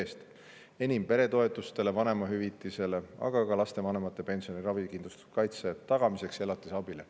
Enim sellest läheb peretoetustele ja vanemahüvitisele, aga ka lapsevanemate pensioni ja ravikindlustuskaitse tagamiseks ja elatisabile.